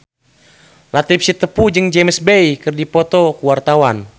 Latief Sitepu jeung James Bay keur dipoto ku wartawan